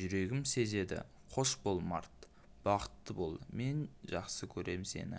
жүрегім сезеді қош бол март бақытты бол мен жақсы көрем сені